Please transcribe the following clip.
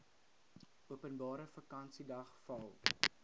openbare vakansiedag val